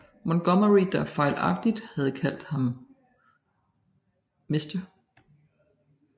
Montgomery der fejlagtigt havde kaldt ham Mr